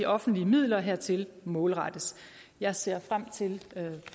offentlige midler hertil målrettes jeg ser frem til